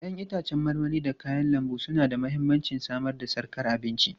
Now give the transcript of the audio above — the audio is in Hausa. Ya'yan itãcen marmari da kayan lambu suna da mahimmancin samar da sarkar abinci.